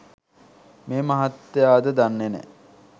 මේ මහත්තයාද දන්නෙ නෑ